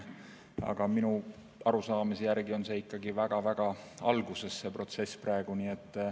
Aga minu arusaamise järgi on see protsess ikkagi väga-väga alguses praegu.